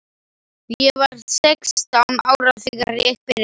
Ég var sextán ára þegar ég byrjaði.